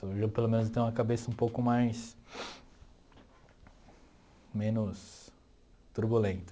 Hoje eu pelo menos eu tenho a cabeça um pouco mais... menos turbulenta.